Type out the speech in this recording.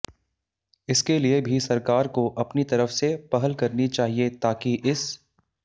इसके लिए भी सरकार को अपनी तरफ से पहल करनी चाहिए ताकि इस